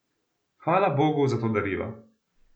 Hvala Bogu za to darilo!